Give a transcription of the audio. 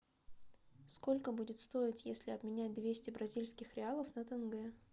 сколько будет стоить если обменять двести бразильских реалов на тенге